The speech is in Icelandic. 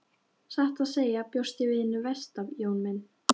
Satt að segja bjóst ég við hinu versta Jón minn.